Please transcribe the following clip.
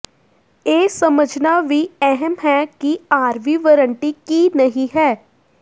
ਇਹ ਸਮਝਣਾ ਵੀ ਅਹਿਮ ਹੈ ਕਿ ਆਰਵੀ ਵਰੰਟੀ ਕੀ ਨਹੀਂ ਹੈ